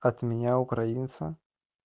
от меня украинца